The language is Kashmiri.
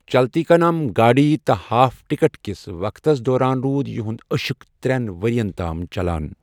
چلتی کا نام گاڑی' تہٕ 'ہاف ٹکٹ' کس وقتس دوران روٗد یِہُند عشق ترٛین ؤرۍیَن تام چلان۔